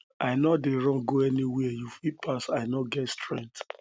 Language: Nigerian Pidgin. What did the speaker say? i no dey run go anywhere you fit pass i no get strength